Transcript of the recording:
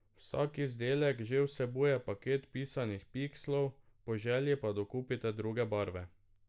Vsak izdelek že vsebuje paket pisanih pikslov, po želji pa dokupite druge barve.